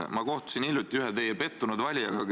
Ma kohtusin hiljuti ühe teie pettunud valijaga.